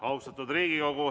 Austatud Riigikogu!